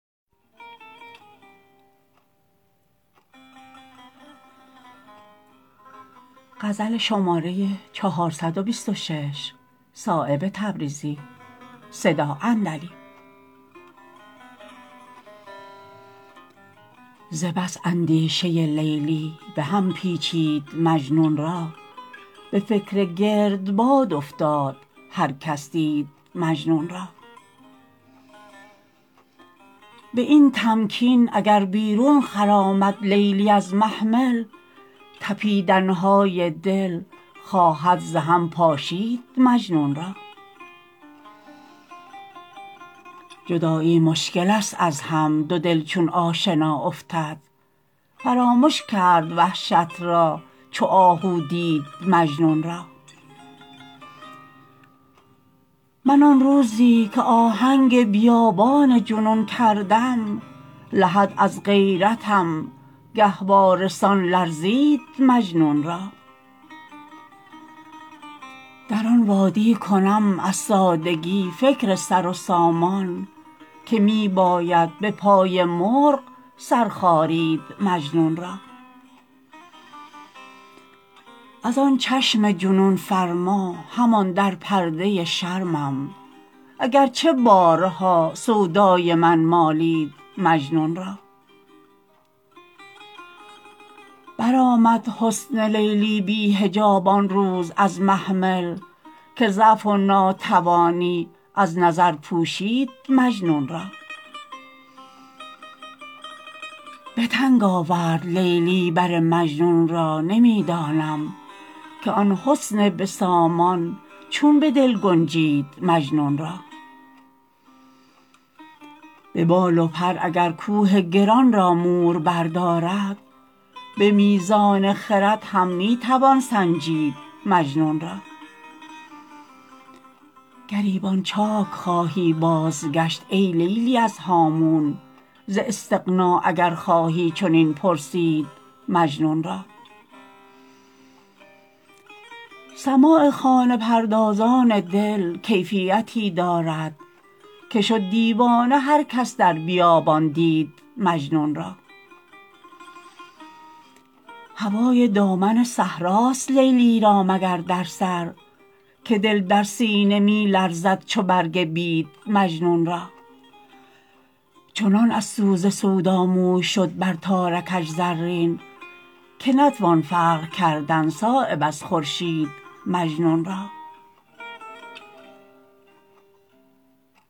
ز بس اندیشه لیلی به هم پیچید مجنون را به فکر گردباد افتاد هر کس دید مجنون را به این تمکین اگر بیرون خرامد لیلی از محمل تپیدن های دل خواهد ز هم پاشید مجنون را جدایی مشکل است از هم دو دل چون آشنا افتد فرامش کرد وحشت را چو آهو دید مجنون را من آن روزی که آهنگ بیابان جنون کردم لحد از غیرتم گهواره سان لرزید مجنون را در آن وادی کنم از سادگی فکر سر و سامان که می باید به پای مرغ سر خارید مجنون را ازان چشم جنون فرما همان در پرده شرمم اگر چه بارها سودای من مالید مجنون را برآمد حسن لیلی بی حجاب آن روز از محمل که ضعف و ناتوانی از نظر پوشید مجنون را به تنگ آورد لیلی بر مجنون را نمی دانم که آن حسن بسامان چون به دل گنجید مجنون را به بال و پر اگر کوه گران را مور بردارد به میزان خرد هم می توان سنجید مجنون را گریبان چاک خواهی بازگشت ای لیلی از هامون ز استغنا اگر خواهی چنین پرسید مجنون را سماع خانه پردازان دل کیفیتی دارد که شد دیوانه هر کس در بیابان دید مجنون را هوای دامن صحراست لیلی را مگر در سر که دل در سینه می لرزد چو برگ بید مجنون را چنان از سوز سودا موی شد بر تارکش زرین که نتوان فرق کردن صایب از خورشید مجنون را